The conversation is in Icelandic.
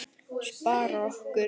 Spara orku.